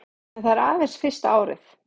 En það er aðeins fyrsta árið